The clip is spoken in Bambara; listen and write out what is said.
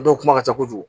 Dɔw kuma ka ca kojugu